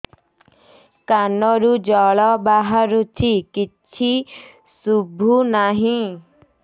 କାନରୁ ଜଳ ବାହାରୁଛି କିଛି ଶୁଭୁ ନାହିଁ